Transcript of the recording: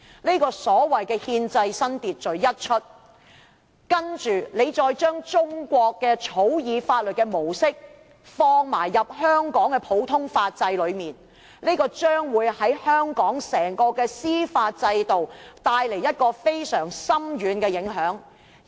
這個所謂"憲制新秩序"先例一開，再將中國草擬法律的模式放入香港的普通法制內，將會對香港整個司法制度，帶來非常深遠的影響。